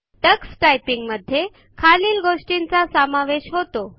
Tux टायपिंगमध्ये खालील गोष्टींचा समावेश होतो